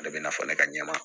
Ale bɛna fɔ ne ka ɲɛma